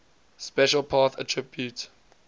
special path attribute